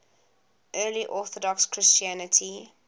eastern orthodox christianity